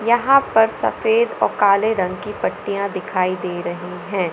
यहां पर सफेद औ काले रंग की पट्टियाँ दिखाई दे रही है।